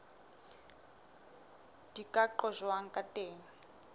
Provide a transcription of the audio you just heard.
di ka qojwang ka teng